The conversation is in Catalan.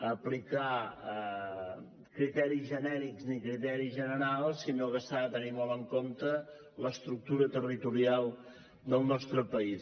aplicar criteris genèrics ni criteris generals sinó que s’ha de tenir molt en compte l’estructura territorial del nostre país